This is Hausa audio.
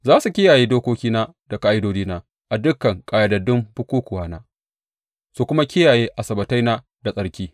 Za su kiyaye dokokina da ƙa’idodina a dukan ƙayyadaddun bukukkuwana, su kuma kiyaye Asabbataina da tsarki.